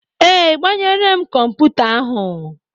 Ee, agbanyere m kọmputa ahu.